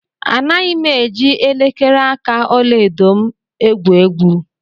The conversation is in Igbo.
Anaghị m eji elekere aka ọla edo m egwu egwu.